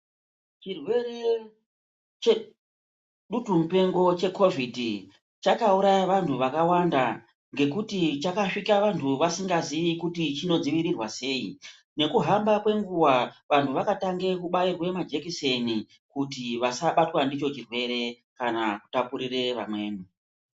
Chirwere chedutumupengo checovhidhi chakauraya vanthu vakawanda ngekuti chakasvika vanthu vasikazii kuti chinodziirirwa sei. Nokuhamba kwenguwa vanthu vakatanga kubairwa majekiseni kuti vasabatwa ndicho chirwere kana kutapurire vamweni.